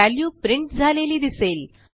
value print झालेली दिसेल